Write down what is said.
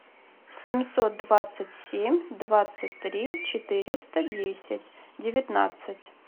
семьсот двадцать семь двадцать три четыреста десять девятнадцать